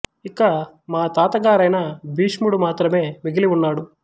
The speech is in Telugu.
ఇక మా తాత గారైన భీష్ముడు మాత్రమే మిగిలి ఉన్నాడు